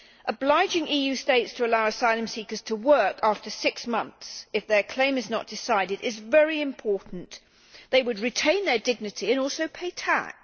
Obliging EU states to allow asylum seekers to work after six months, if their claim is not decided, is very important they would retain dignity and also pay tax.